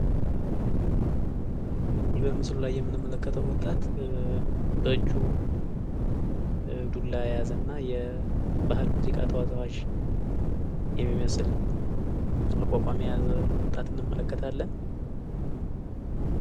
በምስሉ ላይ የምንመለከተው ወጣት በእጁ ዱላ የያዘ እና የባህል የሙዚቃ ተወዛዋዥ የሚመስል አቋቋም የያዘ ወጣት እንመለከታለን ።